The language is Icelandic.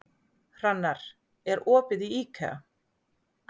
Hrannar, er opið í IKEA?